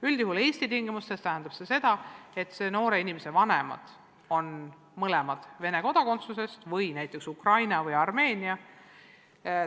Üldjuhul Eesti tingimustes võivad noore inimese vanemad olla mõlemad Vene kodanikud või näiteks Ukraina või Armeenia kodanikud.